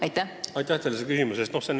Aitäh teile selle küsimuse eest!